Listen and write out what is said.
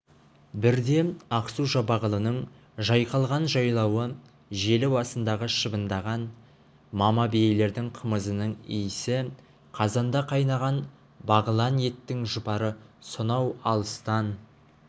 бірде ақсу-жабағылының жайқалған жайлауы желі басындағы шыбындаған мама биелердің қымызының иісі қазанда қайнаған бағлан еттің жұпары сонау алыстан